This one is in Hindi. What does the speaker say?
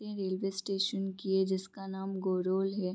ये रेलवे स्टेशन की है जिसका नाम गुरुल है।